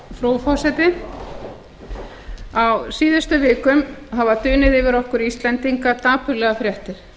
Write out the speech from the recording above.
frú forseti á síðustu vikum hafa dunið yfir okkur íslendinga dapurlegar fréttir